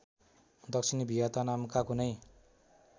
दक्षिणी भियतनामका कुनै